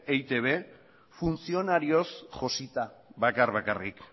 eitb funtzionarioz josita bakar bakarrik